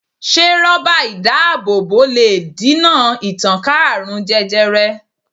Se ró̩bà idaabobo le dina ìtànká aarun jẹjẹrẹ